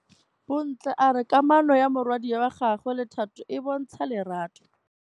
Bontle a re kamanô ya morwadi wa gagwe le Thato e bontsha lerato.